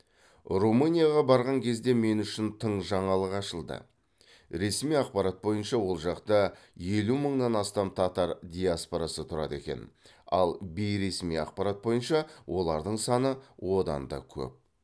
румынияға барған кезде мен үшін тың жаңалық ашылды ресми ақпарат бойынша ол жақта елу мыңнан астам татар диаспорасы тұрады екен ал бейресми ақпарат бойынша олардың саны одан да көп